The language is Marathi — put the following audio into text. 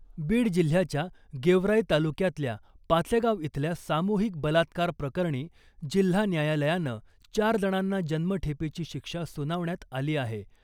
बीड जिल्ह्याच्या गेवराई तालुक्यातल्या पाचेगाव इथल्या सामुहिक बलात्कार प्रकरणी जिल्हा न्यायालयानं चार जणांना जन्मठेपेची शिक्षा सुनावण्यात आली आहे .